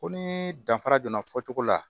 Ko ni danfara donna fɔcogo la